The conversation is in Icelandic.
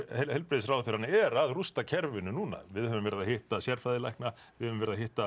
heilbrigðisráðherrann er að rústa kerfinu núna við höfum verið að hitta sérfræðilækna við höfum verið að hitta